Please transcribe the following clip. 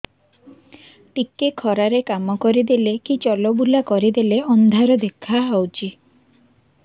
ଟିକେ ଖରା ରେ କାମ କରିଦେଲେ କି ଚଲବୁଲା କରିଦେଲେ ଅନ୍ଧାର ଦେଖା ହଉଚି